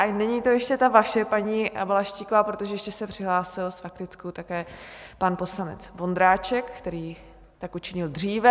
Ale není to ještě ta vaše, paní Balaštíková, protože ještě se přihlásil s faktickou také pan poslanec Vondráček, který tak učinil dříve.